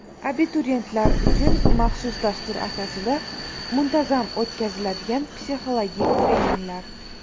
Abituriyentlar uchun maxsus dastur asosida muntazam o‘tkaziladigan psixologik treninglar.